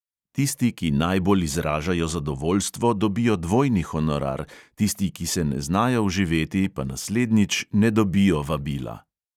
Tisti, ki najbolj izražajo zadovoljstvo, dobijo dvojni honorar, tisti, ki se ne znajo vživeti, pa naslednjič ne dobijo vabila.